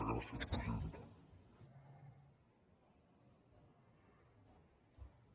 gràcies presidenta